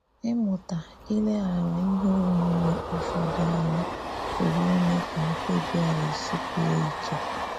Ịmụta ileghara ihe onwunwe ụfọdụ anya pụrụ ime ka mkpebi anyị sikwuo ike.